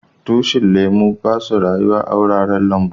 Tushin lemu ba su rayuwa a'wuraren lambu.